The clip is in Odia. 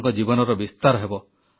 ଆପଣଙ୍କ ଜୀବନର ବିସ୍ତାର ହେବ